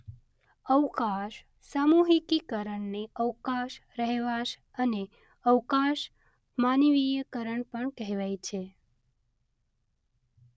અવકાશ સામૂહિકીકરણને અવકાશ રહેવાશ અને અવકાશ માનવીયકરણ પણ કહેવાય છે.